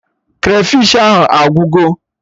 Krafish ahụ agwụgo